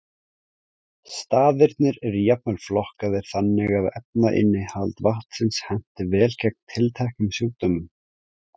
Staðirnir eru jafnvel flokkaðir þannig að efnainnihald vatnsins henti vel gegn tilteknum sjúkdómum.